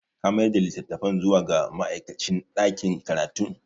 Ka mayar da litattafan zuwa ga ma'aikacin ɗakin karatun?